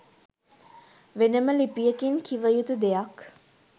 වෙනම ලිපියකින් කිවයුතු දෙයක්.